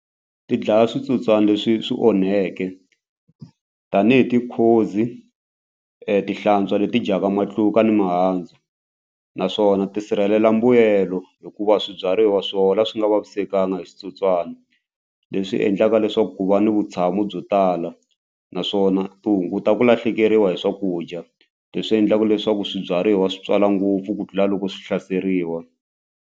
Ti dlaya switsotswani leswi swi onheke tanihi tihlantswa leti dyaka matluka ni mihandzu naswona tisirhelela mbuyelo hikuva swibyariwa swona swi nga vavisekanga hi switsotswana leswi endlaka leswaku ku va ni vutshamo byo tala naswona ti hunguta ku lahlekeriwa hi swakudya leswi endlaka leswaku swibyariwa swi tswala ngopfu ku tlula loko swi hlaseriwa.